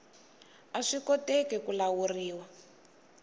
a swi koteki ku lawuriwa